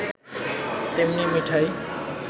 তেমনি মিঠাই